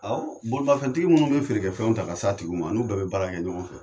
Awɔ, bolimanfɛntigi minnu bɛ feere fɛnw ta ka s'a tigiw ma an n'u bɛɛ bɛ baara kɛ ɲɔgɔn fɛ!